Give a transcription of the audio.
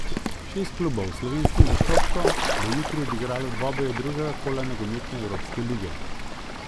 Šest klubov s slovenskim zastopstvom bo jutri odigralo dvoboje drugega kola nogometne evropske lige.